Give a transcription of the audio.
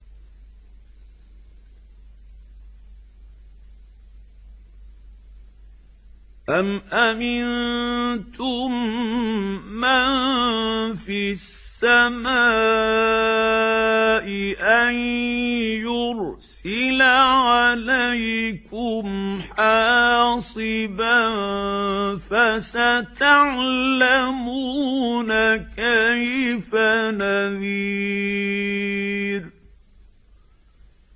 أَمْ أَمِنتُم مَّن فِي السَّمَاءِ أَن يُرْسِلَ عَلَيْكُمْ حَاصِبًا ۖ فَسَتَعْلَمُونَ كَيْفَ نَذِيرِ